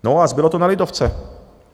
No a zbylo to na lidovce.